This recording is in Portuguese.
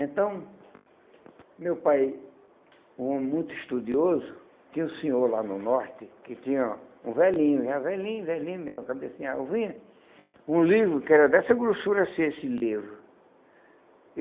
Então, meu pai, um homem muito estudioso, tinha um senhor lá no norte, que tinha um velhinho, já velhinho, velhinho mesmo, cabecinha alvinha, um livro que era dessa grossura assim esse livro.